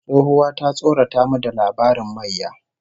Tsohuwa ta tsorata mu da labarin mayya